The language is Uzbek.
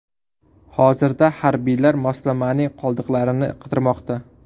Hozirda harbiylar moslamaning qoldiqlarini qidirmoqda.